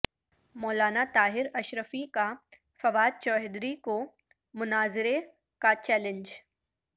مولانا طاہر اشرفی کا فواد چوہدری کو مناظرے کا چیلنج